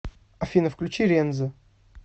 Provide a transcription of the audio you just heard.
афина включи рензо